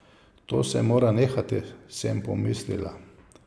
To se mora nehati, sem pomislila.